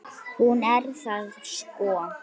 Hún er það sko.